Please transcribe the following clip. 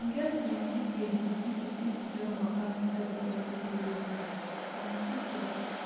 e get plenty gain if you fit join waka inside your everyday lifestyle na true talk